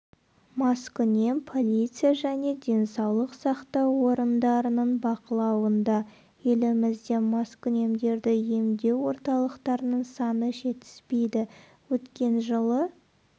маскүнем полиция және денсаулық сақтау орындарының бақылауында елімізде маскүнемдерді емдеу орталықтарының саны жетіспейді өткен жылы